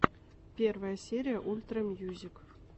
первая серия ультра мьюзик